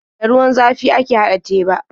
Da ruwan zafi ake haɗa teba.